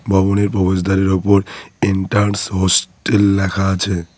ভবনের প্রবেশদ্বারের ওপর এন্টার্নস হসটেল লেখা আছে।